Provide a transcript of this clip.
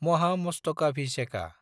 Mahamastakabhisheka